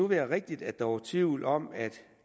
være rigtigt at der var tvivl om at